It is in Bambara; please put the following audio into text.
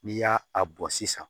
N'i y'a a bɔn sisan